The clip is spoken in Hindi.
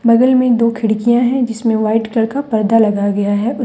बगल में दो खिड़कियां है जिसमें व्हाइट कलर पर्दा लगा गया है उस--